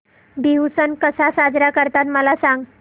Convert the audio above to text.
बिहू सण कसा साजरा करतात मला सांग